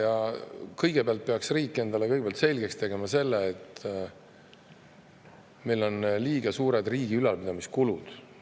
Aga kõigepealt peaks riik endale selgeks tegema selle, et meil on liiga suured riigi ülalpidamise kulud.